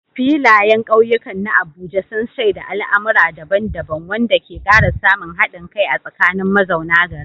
Filayen kauyukan na Abuja sun shaida al'amura daban-daban, wanda ke kara samun hadin kai a tsakanin mazauna garin.